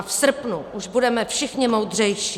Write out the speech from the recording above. A v srpnu už budeme všichni moudřejší.